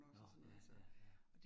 Nåh ja ja ja